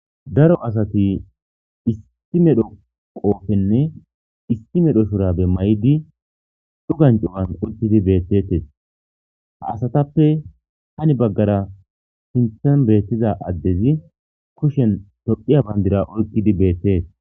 daro asati issi medho qoofenne issi medho shurabe may7di cugan cuwan uttidi beettetes ha asatappe hani baggara sinthan beettiza addezi kushen tophiya bandira oykkidi beettees